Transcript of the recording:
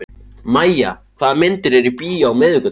Mæja, hvaða myndir eru í bíó á miðvikudaginn?